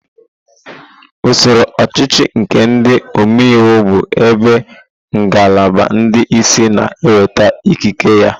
Usoro ọchịchị nke ndị omeiwu bụ ebe ngalaba ndị isi na-enweta ikike ya.